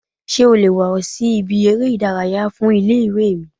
Sé o le wà sí ibi eré ìdárayá fun Ilé ìwé mi?